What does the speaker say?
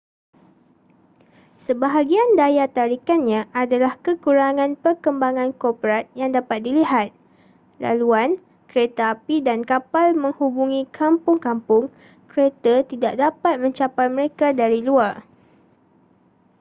sebahagian daya tarikannya adalah kekurangan perkembangan korporat yang dapat dilihat laluan keretapi dan kapal menghubungi kampung-kampung kereta tidak dapat mencapai mereka dari luar